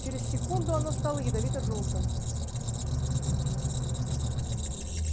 через секунду оно стало ядовито-жёлтым